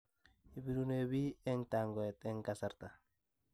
iburunen pii en tangoet en kasarta